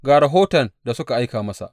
Ga rahoton da suka aika masa.